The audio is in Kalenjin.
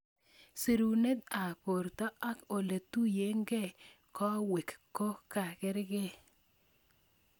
Sirunet ab borto ak oletuyokeibkowek kokarkei.